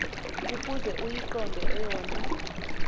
ukuze uyiqonde eyona